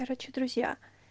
короче друзья